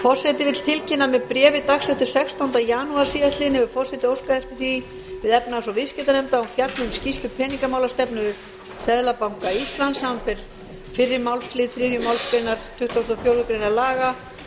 forseti vill tilkynna að með bréfi dagsettu sextánda janúar síðastliðinn hefur forseti óskað eftir því við efnahags og viðskiptanefnd að hún fjalli um skýrslu peningamálastefnu seðlabanka íslands samanber fyrri málslið þriðju málsgrein tuttugustu og fjórðu grein laga númer